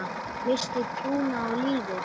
Missti trúna á lífið.